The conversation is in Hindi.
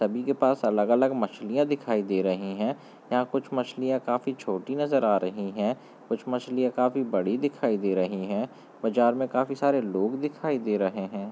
सभी के पास अलग -अलग मछलियाँ दिखाई दे रही हैं यहाँ कुछ मछलियाँ काफी छोटी नजर आ रही हैं कुछ मछलियाँ काफी बड़ी दिखाई दे रहीं है बाजार में काफी सारे लोग दिखाई दे रहें है।